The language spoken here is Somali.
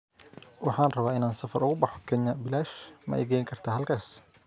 Waxaan rabaa in aan safar ugu baxo Kenya bilaash, ma i geyn kartaa halkaas?